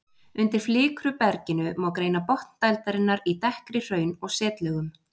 Undir flikruberginu má greina botn dældarinnar í dekkri hraun- og setlögum.